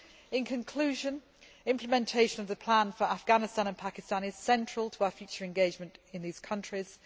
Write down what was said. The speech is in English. In conclusion, implementation of the plan for Afghanistan and Pakistan is central to our future engagement in these countries.